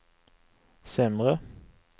sämre